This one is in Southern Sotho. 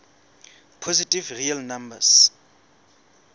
positive real numbers